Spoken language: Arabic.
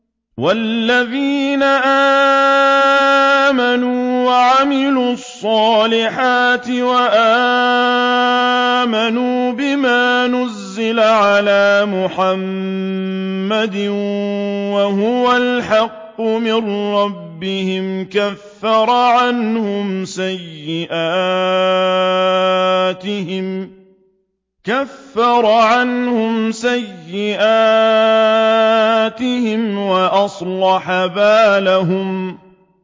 وَالَّذِينَ آمَنُوا وَعَمِلُوا الصَّالِحَاتِ وَآمَنُوا بِمَا نُزِّلَ عَلَىٰ مُحَمَّدٍ وَهُوَ الْحَقُّ مِن رَّبِّهِمْ ۙ كَفَّرَ عَنْهُمْ سَيِّئَاتِهِمْ وَأَصْلَحَ بَالَهُمْ